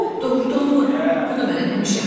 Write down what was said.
Doğrudanmı bunu mən eləmişəm?